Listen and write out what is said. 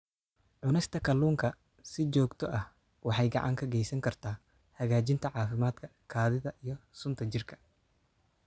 Cunista kalluunka si joogto ah waxay gacan ka geysan kartaa hagaajinta caafimaadka kaadida iyo sunta jirka.